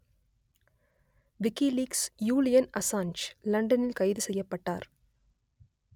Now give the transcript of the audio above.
WikiLeaks Julian Assange லண்டனில் கைது செய்யப்பட்டார்